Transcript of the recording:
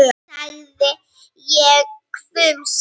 sagði ég hvumsa.